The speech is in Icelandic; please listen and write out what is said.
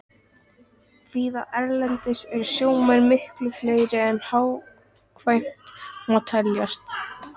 Víða erlendis eru sjómenn miklu fleiri en hagkvæmt má teljast.